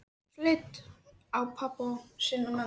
Leit svo á pabba sinn og mömmu.